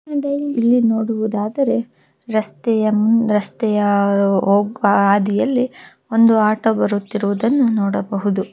ಇಲ್ಲಿ ನೋಡುವುದಾದರೆ ರಸ್ತೆಯಲ್ ರಸ್ತೆಯ ಹೋಗುವ ಹಾದಿಯಲ್ಲಿ ಒಂದು ಆಟೋ ಬರುತ್ತಿರುವುದನ್ನು ನೋಡಬಹುದು.